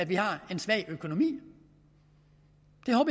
vi har en svag økonomi